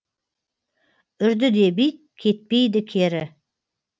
үрді деп ит кетпейді кері